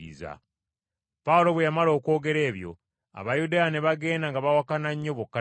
Pawulo bwe yamala okwogera ebyo, Abayudaaya ne bagenda nga bawakana nnyo bokka na bokka.